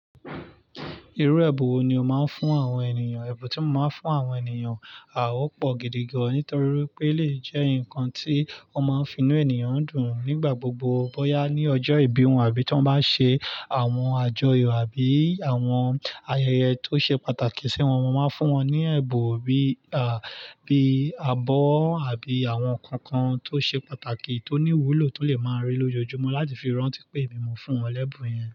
Irú ẹbun wo ni ó máa ń fún àwọn ènìyàn? Ẹbun tí mo máa ń fún àwọn ènìyàn, a ó pọ̀ gidi gan-an nítorí wipé elèyii jẹ́ nǹkan tí ó máa ń finú ènìyàn dùn nígbà gbogbo. Bóyá ní ọjọ́ ìbí wọn àbí tí wọ́n bá ṣe àwọn àjọyọ̀ àbí àwọn ayẹyẹ tó ṣe pàtàkì sí wọn, mo máa n fún wọn ní ẹ̀bùn bíi, à, bíi abọ́ àbí àwọn nǹkan kan tó ṣe pàtàkì tó ní iwúlò tó lè máa rí lójoojúmọ́ láti fi rántí pé èmi ni mo fún wọn l'ẹ́bùn yẹn.